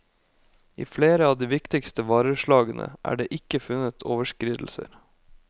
I flere av de viktigste vareslagene er det ikke funnet overskridelser.